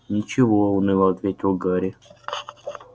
ничего уныло ответил гарри